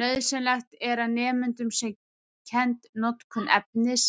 Nauðsynlegt er að nemendum sé kennd notkun efnis-,